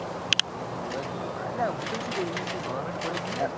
અલ્યા પણ હોય જ ને. અલ મુ તને શું કઉં ત્યાં કોઈ goverment college ની હોય